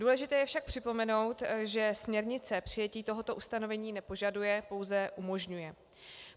Důležité je však připomenout, že směrnice přijetí tohoto ustanovení nepožaduje, pouze umožňuje.